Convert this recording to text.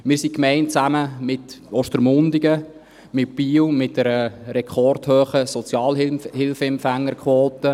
Wir sind eine Gemeinde, zusammen mit Ostermundigen, mit Biel, mit einer rekordhohen Sozialhilfeempfängerquote.